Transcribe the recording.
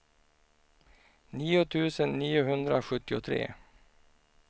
nio tusen niohundrasjuttiotre